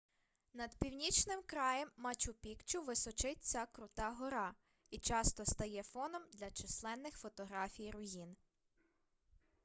над північним краєм мачу-пікчу височить ця крута гора і часто стає фоном для численних фотографій руїн